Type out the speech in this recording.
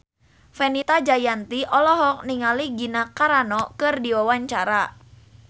Fenita Jayanti olohok ningali Gina Carano keur diwawancara